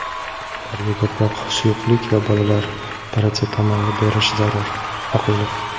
Ularga ko‘proq suyuqlik va bolalar paratsetamoli berish zarur - Oqilov.